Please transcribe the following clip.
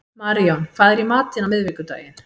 Maríon, hvað er í matinn á miðvikudaginn?